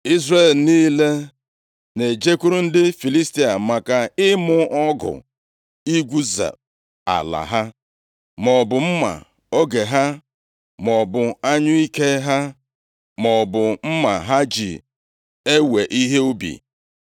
Izrel niile na-ejekwuru ndị Filistia maka ịmụ ọgụ igwuze ala ha, maọbụ mma oge ha, maọbụ anyụike ha, maọbụ mma ha ji ewe ihe ubi.